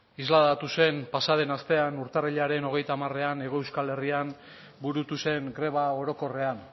isladatu zen pasa den astean urtarrilaren hogeita hamarean hego euskal herrian burutu zen greba orokorrean